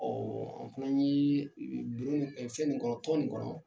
an fɛnɛ yee i bi bi fɛn nin kɔnɔ, tɔn nin kɔnɔ